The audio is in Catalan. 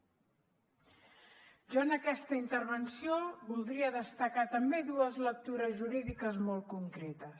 jo en aquesta intervenció voldria destacar també dues lectures jurídiques molt concretes